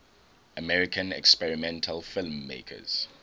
american experimental filmmakers